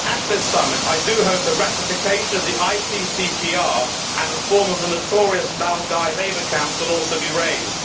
At this summit, I do hope that ratification of the ICCPR and reform of the notorious Laogai labour camps will also be raised.